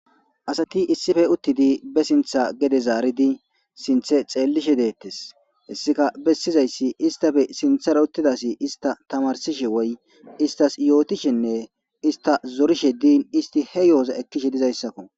Asati issipe utidi be sinta gede zaridi sinte xelishe de'etes hesika besizaysi istape sintera utida asi ista tamarsishe woy istas yotishene ista zarishe din isti he yo'oza ekishe dizaysako.